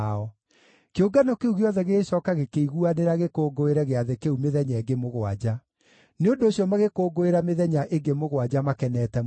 Kĩũngano kĩu gĩothe gĩgĩcooka gĩkĩiguanĩra gĩkũngũĩre gĩathĩ kĩu mĩthenya ĩngĩ mũgwanja; nĩ ũndũ ũcio magĩkũngũĩra mĩthenya ĩngĩ mũgwanja makenete mũno.